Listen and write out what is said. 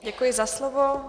Děkuji za slovo.